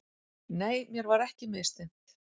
Nei, mér var ekki misþyrmt.